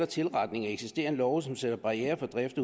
tilretning af eksisterende love som sætter barrierer for drift